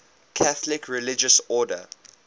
catholic religious order